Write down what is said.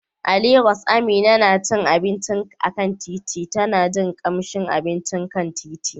A Legas, Amina na cin abinci a kan titi, tana jin kamshin abincin kan titi.